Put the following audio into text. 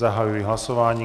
Zahajuji hlasování.